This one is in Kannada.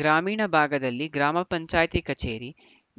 ಗ್ರಾಮೀಣ ಭಾಗದಲ್ಲಿ ಗ್ರಾಮ ಪಂಚಾಯತಿ ಕಚೇರಿ